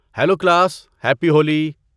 Hello class, happy Holi!